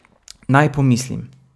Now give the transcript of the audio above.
Naj pomislim ...